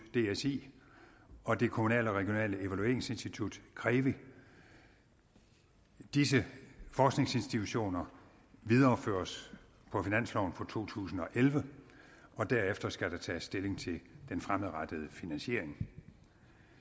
dsi og det kommunale og regionale evalueringsinstitut krevi disse forskningsinstitutioner videreføres på finansloven for to tusind og elleve og derefter skal der tages stilling til den fremadrettede finansiering